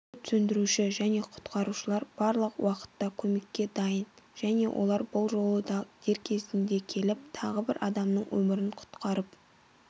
өрт сөндіруші және құтқарушылар барлық уақытта көмекке дайын және олар бұл жолы да дер кезінде келіп тағы бір адамның өмірін құтқарып